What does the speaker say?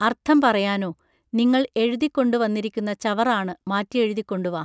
അർഥം പറയാനൊ? നിങ്ങൾ എഴുതിക്കൊണ്ടു വന്നിരിക്കുന്ന ചവറാണ് മാറ്റിയെഴുതിക്കൊണ്ടു വാ